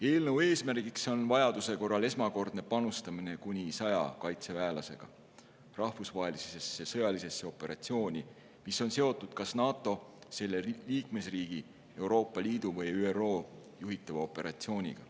Eelnõu eesmärk on vajaduse korral esmakordne panustamine kuni 100 kaitseväelasega rahvusvahelisse sõjalisse operatsiooni, mis on seotud kas NATO, selle liikmesriigi, Euroopa Liidu või ÜRO juhitava operatsiooniga.